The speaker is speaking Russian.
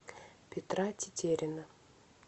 петра тетерина